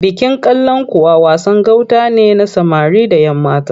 Bikin Kalankuwa wasan gauta ne na samari da ‘yammata.